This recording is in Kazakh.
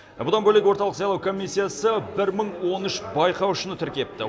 бұдан бөлек орталық сайлау комиссиясы бір мың он үш байқаушыны тіркепті